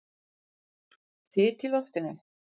Þyt í loftinu?